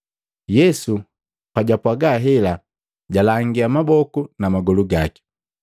Yesu pajapwaga hela, jalangia maboku na magolu gaki.